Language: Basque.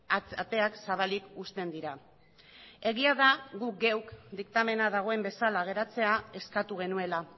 ateak zabalik uzten dira egia da gu geuk diktamena dagoen bezala geratzea eskatu genuela